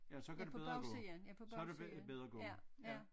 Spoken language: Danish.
Ja så kan det bedre gå så er det bedre gå ja